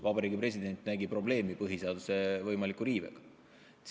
Vabariigi President nägi probleemi põhiseaduse võimaliku riivega.